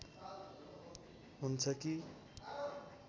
हुन्छ कि